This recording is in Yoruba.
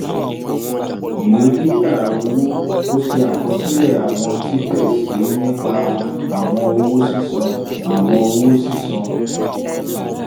vi) ìwé gbígba owó: ó ṣe àkosílè àwọn títè sí nípa àwọn owó sísan. àwọn owó sísan.